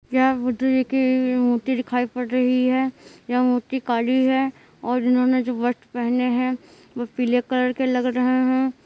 यह बुद्धा जी की मूर्ति दिखाई पड़ रही है यह मूर्ति काली है और इन्होंने जो वस्त्र पहने हैं वो पीले कलर के लग रहे हैं।